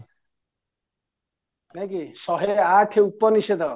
ନାଇଁକି ସହେଆଠ ଉପନିସେଦ